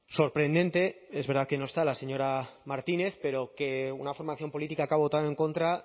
sorprendente es verdad que no está la señora martínez pero que una formación política que ha votado en contra